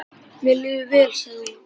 Mér líður vel, sagði hún.